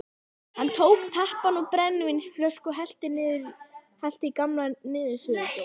Hann tók tappann úr brennivínsflösku og hellti í gamla niðursuðudós.